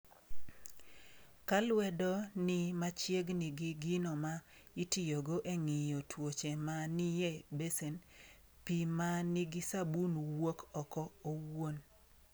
Ka lwedo ni machiegni gi gino ma itiyogo e ng’iyo tuoche ma ni e besen, pi ma nigi sabuni wuok oko owuon.